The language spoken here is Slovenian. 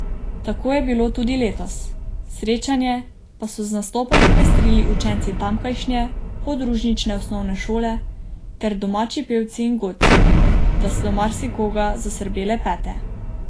Tako je bilo tudi letos, srečanje pa so z nastopom popestrili učenci tamkajšnje podružnične osnovne šole ter domači pevci in godci, da so marsikoga zasrbele pete.